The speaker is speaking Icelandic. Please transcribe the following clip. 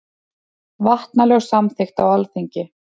Vatnalög samþykkt á Alþingi.